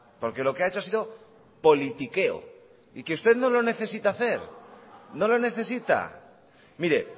porque lo que ha hecho ha sido politiqueo y que usted no lo necesita hacer no lo necesita mire